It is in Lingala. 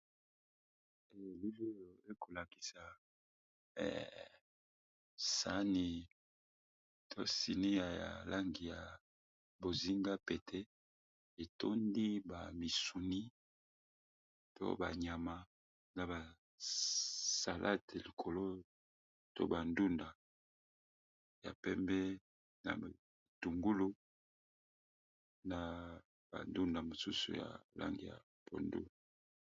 Na elili oyo ekolakisa sani ya langi ya bozinga pe etondi bamisuni to banyama na basalade likolo to bandunda ya pembe na matungulu na bandunda mosusu ya langi ya pondu.